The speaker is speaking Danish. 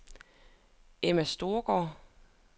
Emma Storgaard